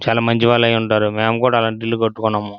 చాలా మంచి వాళ్ళై ఉంటారు మేము కూడా అలాంటి ఇల్లు కట్టుకున్నాము.